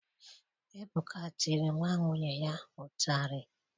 Ebuka tiri nwa nwunye nna ya ụtarị